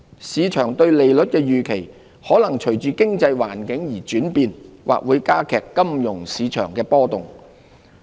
市場對利率的預期，可能隨着經濟環境而轉變，或會加劇金融市場波動。